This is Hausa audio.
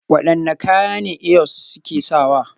Wadanne kaya ne Eyos suke sawa?